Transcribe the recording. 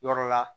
Yɔrɔ la